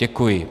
Děkuji.